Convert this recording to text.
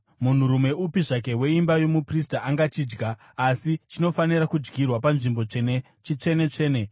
Munhurume upi zvake weimba yomuprista angachidya, asi chinofanira kudyirwa munzvimbo tsvene; chitsvene-tsvene.